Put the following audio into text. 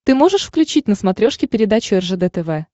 ты можешь включить на смотрешке передачу ржд тв